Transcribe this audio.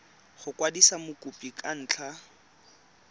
go kwadisa mokopi ka ntlha